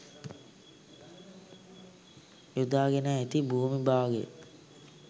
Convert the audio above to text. යොදාගෙන ඇති භූමි භාගය